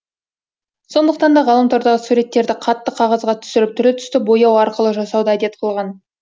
сондықтан да ғаламтордағы суреттерді қатты қағазға түсіріп түрлі түсті бояу арқылы жасауды әдет қылған